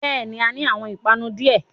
Bẹ́ẹ̀ni, A ni awọn ipanu diẹ